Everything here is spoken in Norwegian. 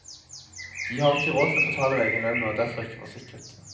De har ikke råd til å betale av egen lønn, og er derfor ikke forsikret.